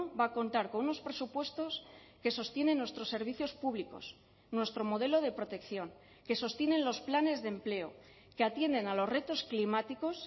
va a contar con unos presupuestos que sostienen nuestros servicios públicos nuestro modelo de protección que sostienen los planes de empleo que atienden a los retos climáticos